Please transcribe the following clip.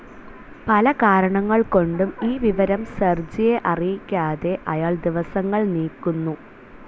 പലകാരണങ്ങൾകൊണ്ടും ഈ വിവരം സെർജിയെ അറിയിക്കാതെ അയാൾ ദിവസങ്ങൾ നീക്കുന്നു.